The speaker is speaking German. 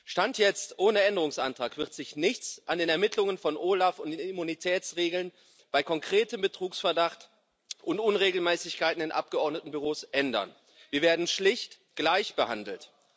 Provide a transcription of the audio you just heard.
Stand jetzt Ohne Änderungsantrag wird sich nichts an den Ermittlungen von OLAF und den Immunitätsregeln bei konkretem Betrugsverdacht und Unregelmäßigkeiten in Abgeordnetenbüros ändern. Wir werden schlicht gleichbehandelt.